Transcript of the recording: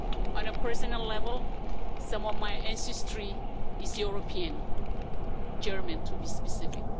On a personal level, some of my ancestry is European, German to be specific.